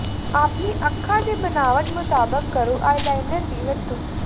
ਅਪਣੀ ਅੱਖਾਂ ਦੀ ਬਣਾਵਟ ਮੁਤਾਬਕ ਕਰੋ ਆਈਲਾਈਨਰ ਦੀ ਵਰਤੋਂ